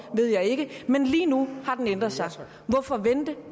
ved jeg ikke men lige nu har den ændret sig hvorfor vente